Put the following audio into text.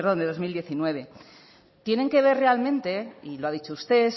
de dos mil diecinueve tienen que ver realmente y lo ha dicho usted